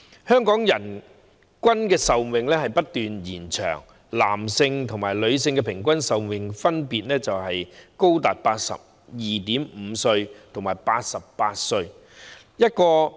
香港人均壽命不斷延長，男性和女性平均壽命分別高達 82.5 歲和88歲。